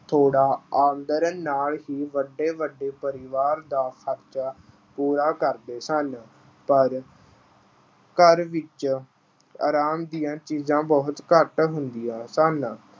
ਥੋੜ੍ਹੀ ਆਮਦਨ ਨਾਲ ਹੀ ਵੱਡੇ-ਵੱਡੇ ਪਰਿਵਾਰ ਦਾ ਖ਼ਰਚਾ ਪੂਰਾ ਕਰਦੇ ਸਨ। ਪਰ ਘਰ ਵਿੱਚ ਆਰਾਮ ਦੀਆਂ ਚੀਜ਼ਾਂ ਬਹੁਤ ਘੱਟ ਹੁੰਦੀਆਂ ਸਨ।